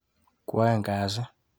Kwaeng kasit.